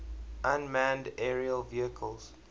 unmanned aerial vehicles